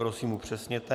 Prosím, upřesněte.